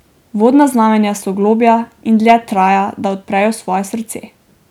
Vodna znamenja so globlja in dlje traja, da odprejo svoje srce.